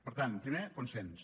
per tant primer consens